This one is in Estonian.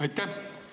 Aitäh!